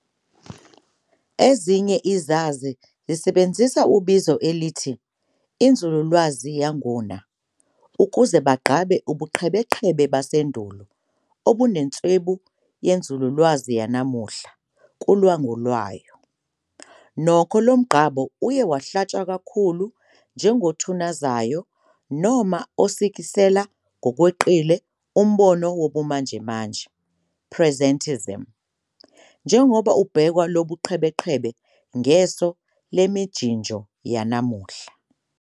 Ezinye izazi zisebenzisa ebizo elithi 'inzululwazi yanguna' ukuze bagqabe ubuqhebeqhebe basendulo obunenswebu yenzululwazi yanamuhla kulwangu lwayo, nokho, lomgqabo uye wahlatshwa kakhulu njengothunazayo noma osikisela ngokweqile umbono wobumanjemanje, "Presentism", njengoba ubhekwa Lobo buqhebeqhebe ngeso lemijinjo yanamuhla.